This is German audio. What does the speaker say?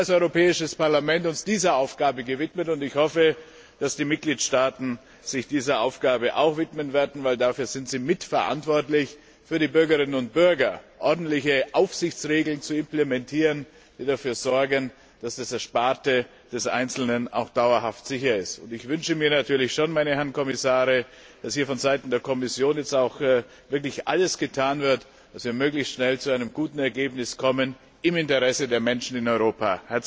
Wir haben uns als Europäisches Parlament dieser Aufgabe gewidmet, und ich hoffe, dass die Mitgliedstaaten sich auch dieser Aufgabe widmen werden, weil sie mitverantwortlich dafür sind, für die Bürgerinnen und Bürger ordentliche Aufsichtsregeln zu implementieren, die dafür sorgen, dass das Ersparte des Einzelnen auch dauerhaft sicher ist. Ich wünsche mir natürlich schon, meine Herren Kommissare, dass von Seiten der Kommission jetzt auch wirklich alles getan wird, damit wir möglichst schnell zu einem guten Ergebnis kommen, im Interesse der Menschen in Europa.